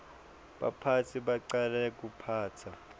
baphatsi bacala kuphatsa